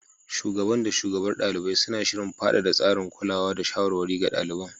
Shugaban da shugabar ɗalibai, suna shirin faɗaɗa tsarin kulawa da shawarwari ga ɗaliban.